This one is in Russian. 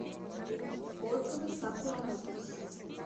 отзывы сакура моторс